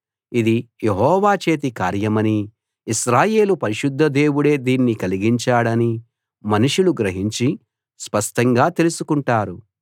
ఇది యెహోవా చేతి కార్యమనీ ఇశ్రాయేలు పరిశుద్ధ దేవుడే దీన్ని కలిగించాడనీ మనుషులు గ్రహించి స్పష్టంగా తెలుసుకుంటారు